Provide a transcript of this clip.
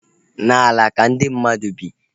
N'ala ka ndị mmadụ bi